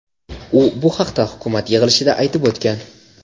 U bu haqda hukumat yig‘ilishida aytib o‘tgan.